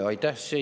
Aitäh!